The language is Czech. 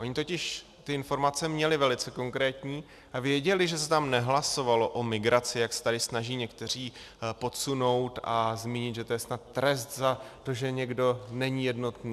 Oni totiž ty informace měli velice konkrétní a věděli, že se tam nehlasovalo o migraci, jak se tady snaží někteří podsunout a zmínit, že to je snad trest za to, že někdo není jednotný.